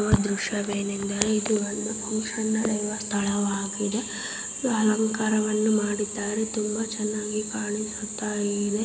ಈ ದ್ರಶ್ಯವೇನೆಂದರೆ ಇದು ಒಂದು ಫಂಕ್ಷನ ನಡೆಯುವ ಸ್ಥಳವಾಗಿದೆ. ಅಲಂಕಾರವನ್ನು ಮಾಡಿದ್ದಾರೆ. ತುಂಬಾ ಚೆನ್ನಾಗಿ ಕಾಣಿಸುತ್ತಾಯಿದೆ.